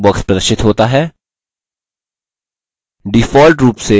effects options dialog box प्रदर्शित होता है